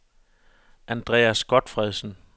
Andreas Gotfredsen